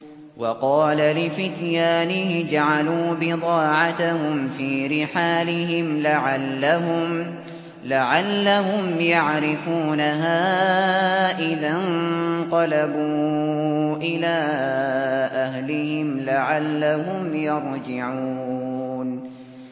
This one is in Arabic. وَقَالَ لِفِتْيَانِهِ اجْعَلُوا بِضَاعَتَهُمْ فِي رِحَالِهِمْ لَعَلَّهُمْ يَعْرِفُونَهَا إِذَا انقَلَبُوا إِلَىٰ أَهْلِهِمْ لَعَلَّهُمْ يَرْجِعُونَ